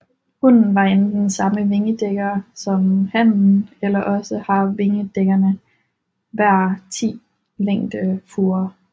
Hunnen har enten samme vingedækker som hannen eller også har vingerdækkerne hver 10 længdefurer